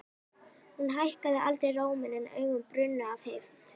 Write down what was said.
Hún hækkaði aldrei róminn en augun brunnu af heift.